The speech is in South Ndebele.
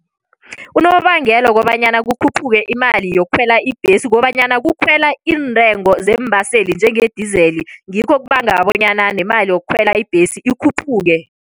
Unobangela wokobanyana kukhuphuke imali yokukhwela ibhesi, kukobanyana kukhwelwa iintengo zeembaseli njenge-diesel, ngikho okubanga bonyana nemali yokukhwela ibhesi ikhuphuke.